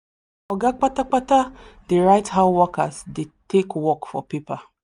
oga kpata kpata dey write how workers dey take work for paper